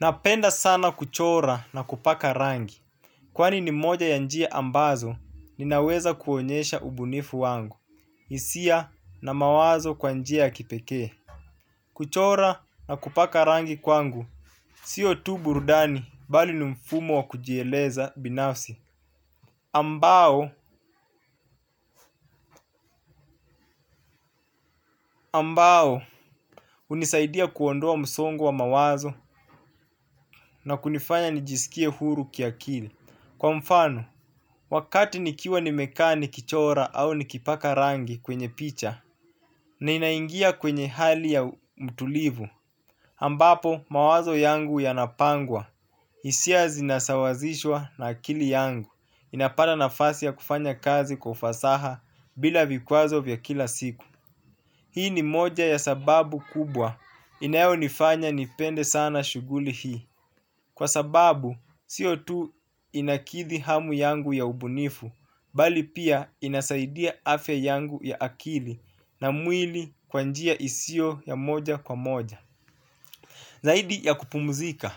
Napenda sana kuchora na kupaka rangi. Kwani ni moja ya njia ambazo ninaweza kuonyesha ubunifu wangu hisia na mawazo kwa njia ya kipekee. Kuchora na kupaka rangi kwangu. Siyo tu burudani bali ni mfumo wa kujieleza binafsi ambao, ambao hunisaidia kuondoa msongo wa mawazo na kunifanya nijisikie huru kiakili. Kwa mfano, wakati nikiwa nimekaa ni kichora au nikipaka rangi kwenye picha ninaingia kwenye hali ya mtulivu ambapo mawazo yangu yanapangwa, hisia zinasawazishwa na akili yangu inapata nafasi ya kufanya kazi kwa kufasaha bila vikwazo vya kila siku. Hii ni moja ya sababu kubwa inayo nifanya nipende sana shughuli hii. Kwa sababu, siyo tu inakidhi hamu yangu ya ubunifu, bali pia inasaidia afya yangu ya akili na mwili kwa njia isiyo ya moja kwa moja. Zaidi ya kupumzika,